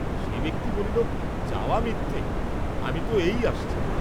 সে ব্যক্তি বলিল যাওয়া মিথ্যে, আমি তো এই আসছি।